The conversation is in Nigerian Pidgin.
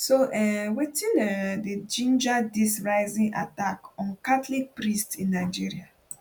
so um wetin um dey ginger dis rising attack on catholic priests in nigeria